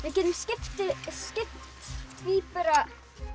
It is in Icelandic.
getum skipt í bara